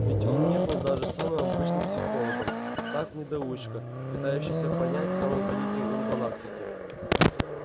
ведь он не был даже самым обычным психологом так недоучка пытающийся понять самый великий ум галактики